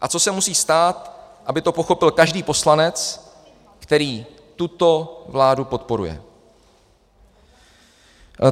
A co se musí stát, aby to pochopil každý poslanec, který tuto vládu podporuje?